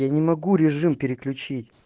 я не могу режим переключить